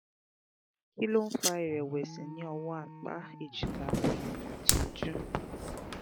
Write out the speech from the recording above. kí ló ń fa ìrẹ̀wẹ̀sì ní ọwọ́ apá ejika ẹ̀yìn àti ojú?